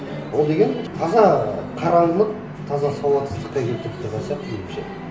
ол деген таза қараңғылық таза сауатсыздыққа келтіріп тұрған сияқты меніңше